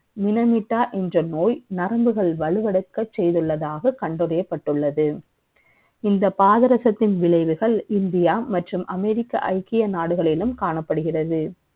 நிலமிட்டா என்ற நோய் நரம்புகள் வலுவிளக்க செய்வதாக கண்டறியப்பட்டுள்ளது இந்த பாதரசத்தின் விளைவாக இந்தியா மற்றும் அமெரிக்கா ஐக்கிய நாடுகளிலும் காணப்படுகிறது